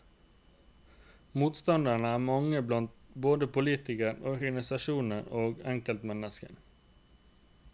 Motstanderne er mange blant både politikere, organisasjoner og enkeltmennesker.